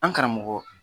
An karamɔgɔ